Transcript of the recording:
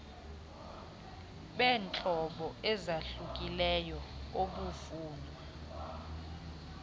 beentlobo ezahlukileyo obufunwa